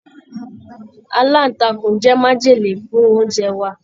Alantakun jẹ májèlé fún oúnjẹ wa.